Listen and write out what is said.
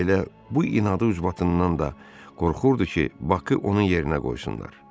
Elə bu inadın üzbatından da qorxurdu ki, Bakı onun yerinə qoysunlar.